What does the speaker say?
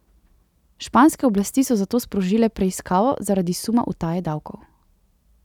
Španske oblasti so zato sprožile preiskavo zaradi suma utaje davkov.